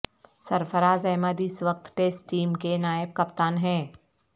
سرفراز احمد اس وقت test team کے نائب کپتان ہیں